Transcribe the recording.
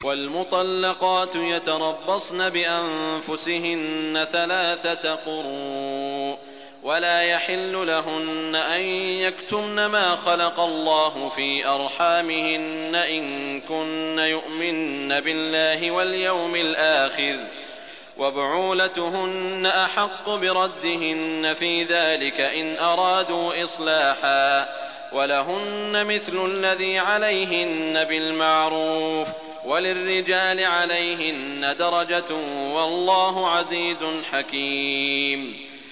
وَالْمُطَلَّقَاتُ يَتَرَبَّصْنَ بِأَنفُسِهِنَّ ثَلَاثَةَ قُرُوءٍ ۚ وَلَا يَحِلُّ لَهُنَّ أَن يَكْتُمْنَ مَا خَلَقَ اللَّهُ فِي أَرْحَامِهِنَّ إِن كُنَّ يُؤْمِنَّ بِاللَّهِ وَالْيَوْمِ الْآخِرِ ۚ وَبُعُولَتُهُنَّ أَحَقُّ بِرَدِّهِنَّ فِي ذَٰلِكَ إِنْ أَرَادُوا إِصْلَاحًا ۚ وَلَهُنَّ مِثْلُ الَّذِي عَلَيْهِنَّ بِالْمَعْرُوفِ ۚ وَلِلرِّجَالِ عَلَيْهِنَّ دَرَجَةٌ ۗ وَاللَّهُ عَزِيزٌ حَكِيمٌ